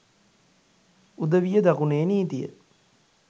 උදවිය දකුණේ නීතිය